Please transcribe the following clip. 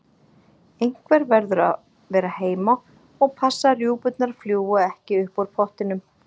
Einhver verður að vera heima og passa að rjúpurnar fljúgi ekki upp úr pottinum